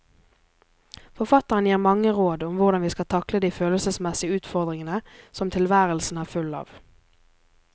Forfatteren gir mange råd om hvordan vi skal takle de følelsesmessige utfordringer som tilværelsen er full av.